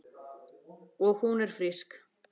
Og hún er frísk.